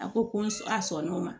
A ko ko n'a sɔn n'o ma